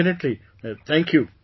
definitely, thank you